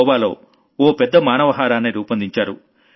గోవాలో ఓ పెద్ద మానవ హారాన్ని రూపొందించారు